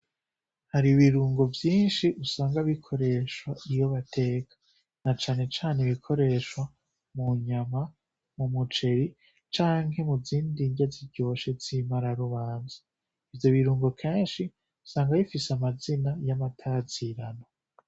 Hari ibirungo vyinshi usanga bikoreshwa iyo bateka na canecane ibikoreshwa mu nyama mu mujeri canke mu zindi nde ziryoshe zimara rubanza ivyo birungo kenshi usanga bifise amazina y'amatazirano.